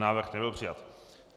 Návrh nebyl přijat.